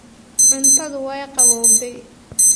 Cuntadu way qabowday